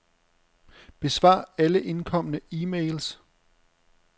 Besvar alle indkomne e-mails.